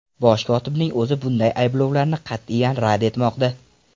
Bosh kotibning o‘zi bunday ayblovlarni qat’iyan rad etmoqda.